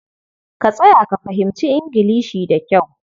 Ka tsaya ka fahimci Ingilishi da kyau.